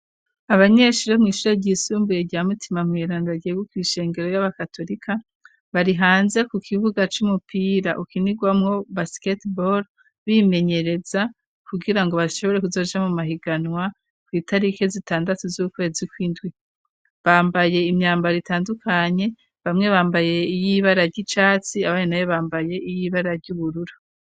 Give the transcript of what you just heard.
Abanyeshurio mw'ishure ryisumbuye rya mutima mwiranda ryegu kw' ishengero y'abakatorika barihanze ku kibuga c'umupira ukinirwamwo baskete bol bimenyereza kugira ngo bashobore kuzoja mu mahiganwa kw'itarike zitandatu z'ukwezi kw'indwi bambaye imyambaro ritandukanye bamwe bambaye iyo ibara ry'icatsi abare na ye bambaye iyoibara ry'uburura.